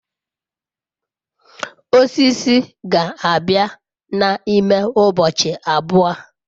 osiso ga-abia na ime ubochi abuo